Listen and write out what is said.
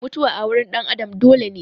Mutuwa a wurin ɗan Adam dole ne.